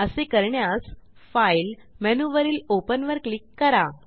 असे करण्यास फाइल मेनूवरील ओपन वर क्लिक करा